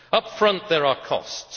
Upfront, there are costs.